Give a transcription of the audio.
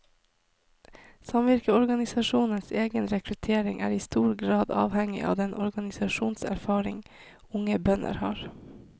Samvirkeorganisasjonenes egen rekruttering er i stor grad avhengig av den organisasjonserfaring unge bønder har.